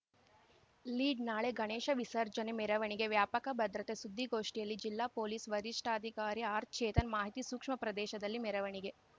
lead ನಾಳೆ ಗಣೇಶ ವಿಸರ್ಜನೆ ಮೆರವಣಿಗೆ ವ್ಯಾಪಕ ಭದ್ರತೆ ಸುದ್ದಿಗೋಷ್ಠಿಯಲ್ಲಿ ಜಿಲ್ಲಾ ಪೊಲೀಸ್‌ ವರಿಷ್ಟಾಧಿಕಾರಿ ಆರ್‌ಚೇತನ್‌ ಮಾಹಿತಿ ಸೂಕ್ಷ್ಮ ಪ್ರದೇಶದಲ್ಲಿ ಮೆರವಣಿಗೆ